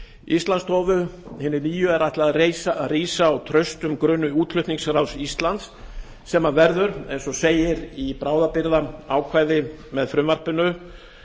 íslandsstofu hinni nýju er ætlað að rísa á traustum grunni útflutningsráðs íslands sem verður eins og segir í bráðabirgðaákvæði með frumvarpinu